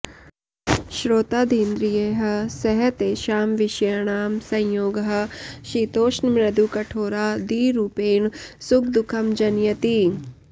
श्रोत्रादीन्द्रियैः सह तेषां विषयाणां संयोगः शीतोष्णमृदुकठोरादिरूपेण सुखदुःखं जनयति